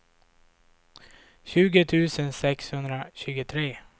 tjugo tusen sexhundratjugotre